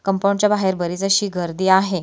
Compound च्या बाहेर बरीच अशी गर्दी आहे.